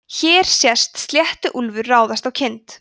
hér sést sléttuúlfur ráðast á kind